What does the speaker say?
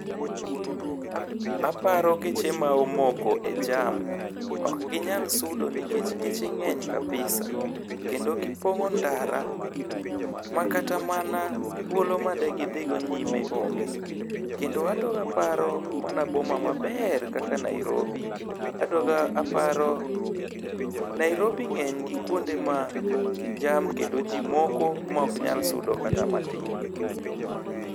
Aparo geche ma omoko e jam. Okginyal sudo nikech geche ng'eny kabisa. Kendo gipong'o ndara, ma kata mana thuolo madegidhigo nyime onge. Kendo adogo aparo mana boma maber kaka Nairobi. Adogo aparo, Nairobi ng'eny gi kuonde ma jam kendo ji moko ma ok nyal sudo kata matin.